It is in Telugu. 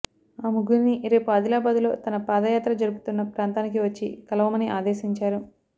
ఆ ముగ్గురినీ రేపు ఆదిలాబాదులో తన పాదయాత్ర జరుపుతున్న ప్రాంతానికి వచ్చి కలవమని ఆదేశించారు